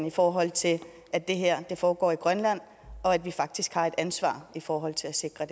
i forhold til at det her foregår i grønland og at vi faktisk har et ansvar i forhold til at sikre